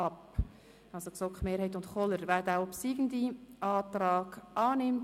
Wir stimmen nun noch über den obsiegenden Antrag ab.